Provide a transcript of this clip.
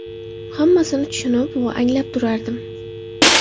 Hammasini tushunib va anglab turardim.